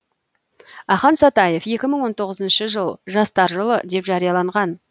ақан сатаев екі мың он тоғызыншы жыл жастар жылы деп жарияланған